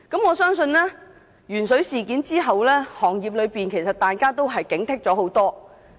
我相信，鉛水事件後，業內人士都已加強警惕。